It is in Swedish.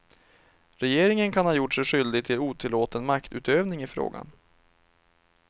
Regeringen kan ha gjort sig skyldig till otillåten maktutövning i frågan.